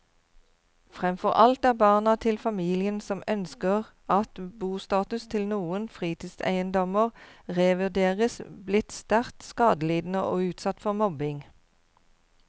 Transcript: Fremfor alt er barna til familiene som ønsker at bostatus til noen fritidseiendommer revurderes, blitt sterkt skadelidende og utsatt for mobbing.